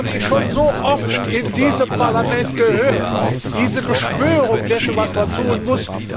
Das habe ich schon so oft in diesem Parlament gehört, diese Beschwörung dessen, was man tun muss.